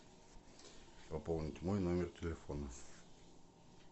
пополнить мой номер телефона